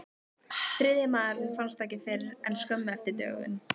Þriðji maðurinn fannst ekki fyrr en skömmu eftir dögun.